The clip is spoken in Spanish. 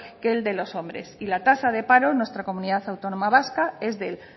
que el de los hombres y la tasa de paro en nuestra comunidad autónoma vasca es del